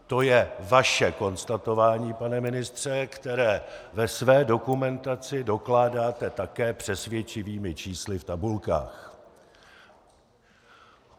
To je vaše konstatování, pane ministře které ve své dokumentaci dokládáte také přesvědčivými čísly v tabulkách.